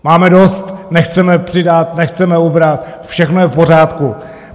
Máme dost, nechceme přidat, nechceme ubrat, všechno je v pořádku.